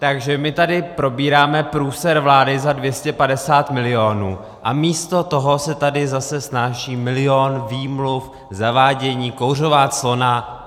Takže my tady probíráme průser vlády za 250 milionů, a místo toho se tady zase snáší milion výmluv, zavádění, kouřová clona.